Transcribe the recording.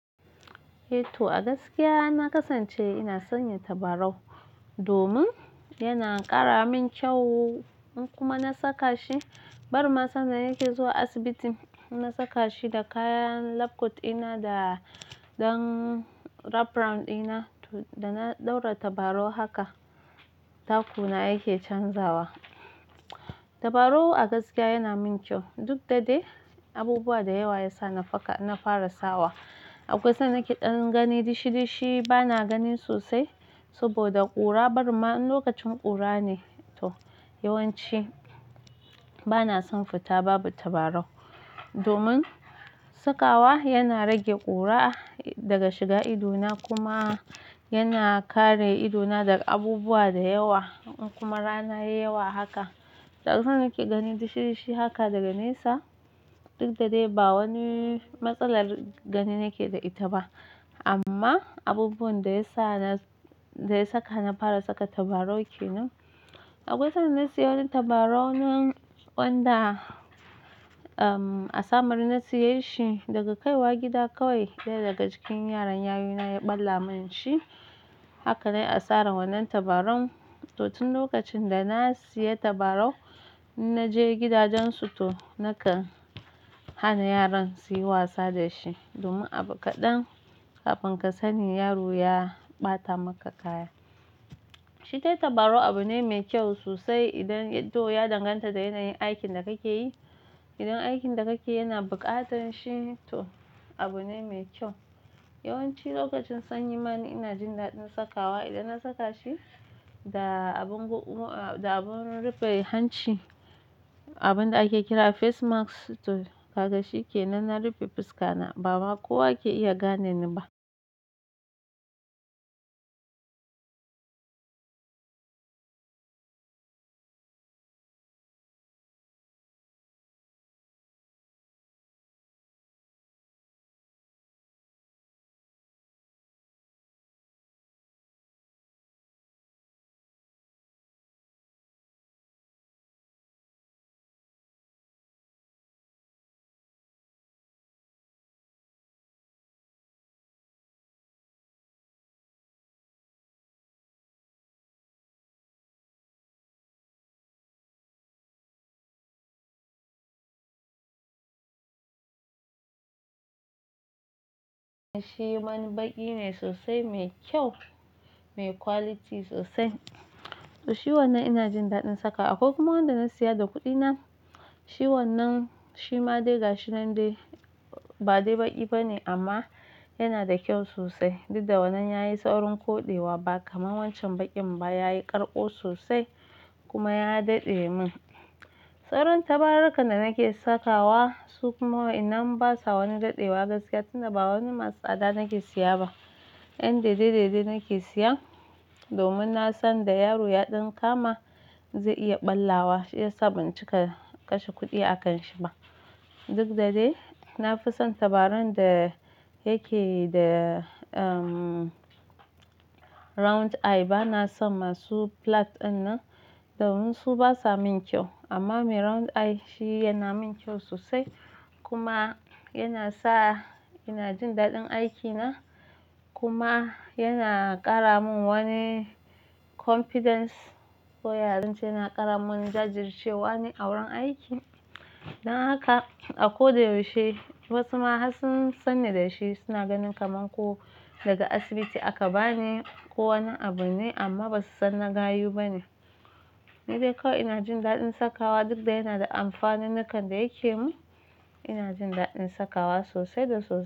To a gaskiya na kasance ina sanya tabarau domin yana ƙara min kyau in kuma na saka shi. Barinma sanda nake zuwa asibiti, in na saka shi da kayan lab kot ina da rap round ɗina toh da na ɗaura tabarau haka, taku na yake canzawa. Tabarau a gaskiya yana min kyau. Duk da dai abubuwa da yawa ya sa na fara sawa. Akwai sanda nake gani dishi dishi bana gani sosai saboda ƙura barinma in lokacin ƙura ne. To yawanci bana son fita babu tabarau domin sakawa yana rage ƙura daga shiga ido na kuma yana kare ido na daga abubuwa da yawa ko kuma in rana yayi yawa haka. Da akwai sanda nake gani dishi dishi haka daga nesa duk da dai ba wani matsalar gani nake da ita ba amma abubuwan da ya saka na fara saka tabarau kenan. Akwai san na siyo wani tabarau wanda a samaru na siye shi daga kaiwa gida kawai. Daya daga cikin yaran yayuna ya ɓalla min shi. Haka na yi asaran wannan tabarau. To tun lokacin da na siya tabarau in na je gidajensu to nakan hana yaran suyi wasa da shi domin abu kaɗan kafin ka sani yaro ya ɓata maka kaya. Shi dai tabarau abu ne mai kyau sosai idan to ya danganta da yanayin aikin da kake yi. Idan aikin da kake yana buƙatar shi to abu ne mai kyau. Yawanci lokacin sanyi mana ni ina jin daɗin sakawa. Idan na saka shi da abun rufe hanci, abun da ake kira face mask to kaga shi kenan, na rufe fuska na, ba ma kowa ke iya gane ni ba. Shi wani baƙi ne sosai, me kyau, me quality sosai. To shi wannan ina jin daɗin sakawa. Akwai kuma wanda na siya da kuɗi na. Shi wannan shi ma day gashi nan dai ba dai baƙi bane amma yana da kyau sosai. Duk da wannan yayi sawrin koɗewa ba kamar wancan baƙin ba. Yayi ƙarƙo sosai kuma ya daɗe mun. Sauran tabarurruka da nake sakawa su kuma waɗannan basa wani daɗewa gaskiya tuni ba wani masu tsada nake siya ba. 'Yan daidai daidai nake siyan domin na san da yaro ya ɗan kama zai iya ɓallawa. Shi ya sa ban cika kashe kuɗi a kan shi ba. Duk da dai na fi son tabarau da yake da round eye. Bana son masu flat ɗinnan domin su basa min kyau amma mai round eye shi yana min kyau sosai kuma yana sa ina jin daɗin aikina kuma yana ƙara mun wani confidence. Ko ya zance yana ƙara mun jajircewa ne a wurin aiki. Dan haka a ko da yaushe wasu ma har sun sanni da shi suna ganin kamar ko daga asibiti aka bani ko wani abu ne amma basu san na gayu bane. Ni dai kawai ina jin daɗin sakawa duk da yana da amfanunnukan da yake yi mun ina jin daɗin sakawa sosai da sosai.